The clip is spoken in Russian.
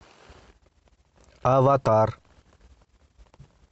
аватар